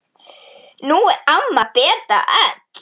Nú er amma Beta öll.